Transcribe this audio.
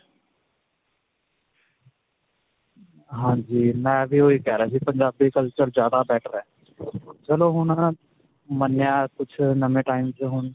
ਹਾਂਜੀ ਮੈਂ ਵੀ ਓਹੀ ਕਹਿ ਰਿਹਾ ਸੀ ਪੰਜਾਬੀ culture ਜਿਆਦਾ better ਹੈ. ਚਲੋ ਹੁਣ ਮੰਨਿਆ ਕੁਝ ਨਵੇਂ time 'ਚ ਹੁਣ.